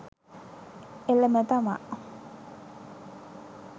එළම තමා